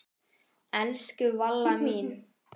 Elsku Valla mín.